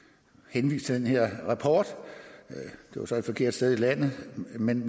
henvist til den her rapport det var så et forkert sted i landet men